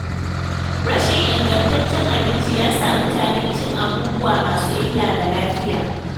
Rashin ingantaccen abinci ya sa mutane cin abubuwa masu illa ga lafiya.